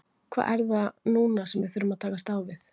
Hvað er það núna sem við þurfum að takast á við?